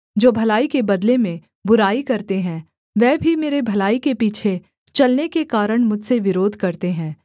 जो भलाई के बदले में बुराई करते हैं वह भी मेरे भलाई के पीछे चलने के कारण मुझसे विरोध करते हैं